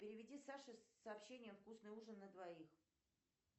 переведи саше с сообщением вкусный ужин на двоих